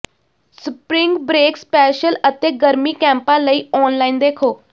spring break special ਅਤੇ ਗਰਮੀ ਕੈਪਾਂ ਲਈ ਔਨਲਾਈਨ ਦੇਖੋ